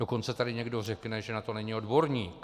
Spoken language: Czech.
Dokonce tady někdo řekne, že na to není odborník.